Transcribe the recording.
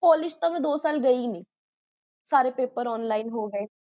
college ਤਾ ਮੈਂ ਦੋ ਸਾਲ ਗਈ ਹੀ ਨਹੀ ਸਾਰੇ ਪੈਪਰ online ਹੋਗਾਏ